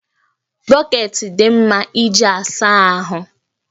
Bọkeeti dị mma iji asa ahụ